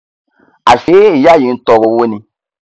àṣé ìyá yìí ntọọrọ owó ni